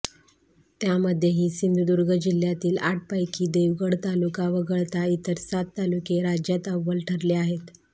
त्यामध्येही सिंधुदुर्ग जिल्हय़ातील आठपैकी देवगड तालुका वगळता इतर सात तालुके राज्यात अव्वल ठरले आहेत